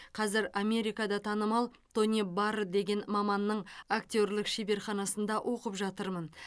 қазір америкада танымал тони барр деген маманның актерлік шеберханасында оқып жатырмын